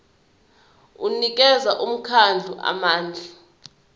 unikeza umkhandlu amandla